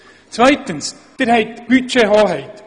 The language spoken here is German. Zweitens haben Sie die Budgethoheit.